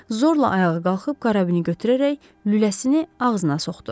Zorla ayağa qalxıb karabini götürərək lüləsini ağzına soxdu.